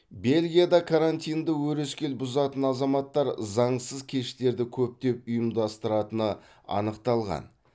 бельгияда карантинді өрескел бұзатын азаматтар заңсыз кештерді көптеп ұйымдастыратыны анықталған